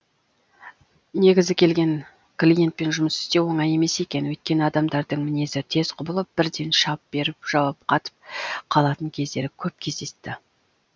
негізі келген клиентпен жұмыс істеу оңай емес екен өйткені адамдардың мінезі тез құбылып бірден шап беріп жауап қатып қалатын кездері көп кездесті